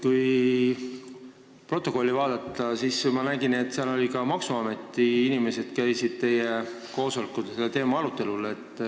Kui protokolli vaadata, siis sealt on näha, et ka maksuameti inimesed käisid teie koosolekul seda teemat arutamas.